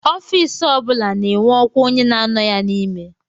Ofiisi o bụla na-enwe ọkwa onye na-anọ ya n'ime